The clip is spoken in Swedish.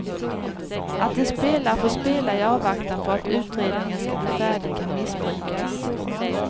Att en spelare får spela i avvaktan på att utredningen skall bli färdig kan missbrukas.